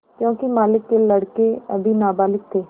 योंकि मालिक के लड़के अभी नाबालिग थे